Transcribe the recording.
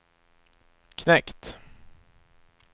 knekt